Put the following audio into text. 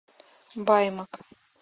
баймак